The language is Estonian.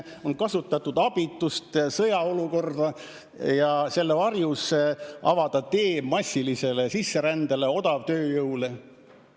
On kasutatud abitust, sõjaolukorda, et selle varjus avada tee massilisele sisserändele, odavtööjõule.